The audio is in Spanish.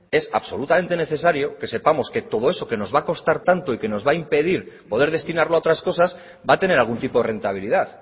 es absolutamente necesario que sepamos que todo eso que nos va a costar tanto y nos va a impedir poder destinarlo a otras cosas va a tener algún tipo de rentabilidad